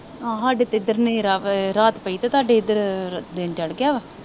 ਆਹ ਸਾਡੇ ਤਾਂ ਇਧਰ ਰਾਤ ਪਈ ਆ। ਤੁਹਾਡੇ ਦਿਨ ਚੜ੍ਹ ਗਿਆ ਆ।